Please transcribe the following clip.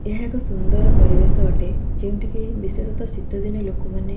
ଏହା ଏକ ସୁନ୍ଦର ପରିବେଶ ଅଟେ ଯେଉଁଠିକି ବିଶେଷତ ଶୀତଦିନେ ଲୋକମାନେ।